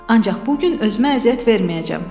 Ancaq bu gün özümə əziyyət verməyəcəm.